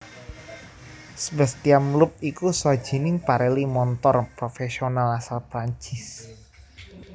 Sebastien Loeb iku sawijining pereli montor profésional asal Prancis